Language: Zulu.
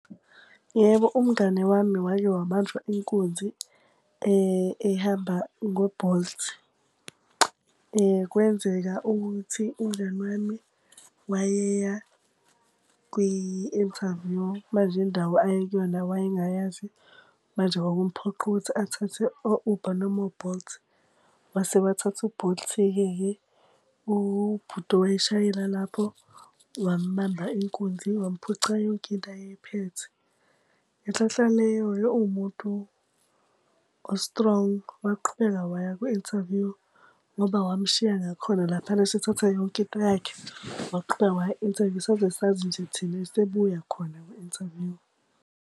Yebo umngani wami wake wabanjwa inkunzi ehamba ngo-Bolt. Kwenzeka ukuthi umngani wami wayeya kwi-interview manje indawo ayekuyona wayengayazi, manje kwakumphoqa ukuthi athathe o-Uber noma o-Bolt. Wase wathatha u-Bolt-ke. Ubhuti owayeshayela lapho wambamba inkunzi, wamphuca yonke into ayeyiphethe. Ngenhlanhlaleyo uwumuntu ostrong. Waqhubeka waya kwi-interview ngoba wamushiya ngakhona laphana esethathe yonke into yakhe. Waqhubeka waya ku-interview saze sazi nje thina esebuya khona kwi-interview.